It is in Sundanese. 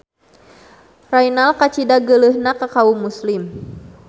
Raynald kacida geuleuhna ka kaum muslim.